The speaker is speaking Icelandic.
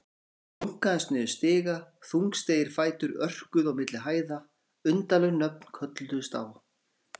Einhver hlunkaðist niður stiga, þungstígir fætur örkuðu á milli hæða, undarleg nöfn kölluðust á.